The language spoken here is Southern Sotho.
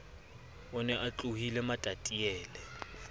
o ne a tlohile matatilele